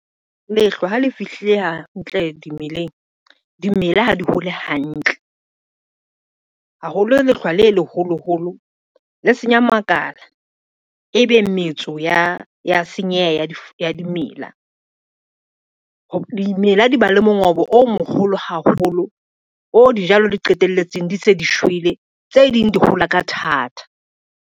Lehlwa ha le fihlile hantle dimeleng, dimela ha di hole hantle. Haholo lehlwa le leholoholo le senya makala, e be metso ya senyeha ya dimela. Dimela di ba le mongobo o moholo haholo, o dijalo le qetelletseng di se di shwele, tse ding di hola ka thata.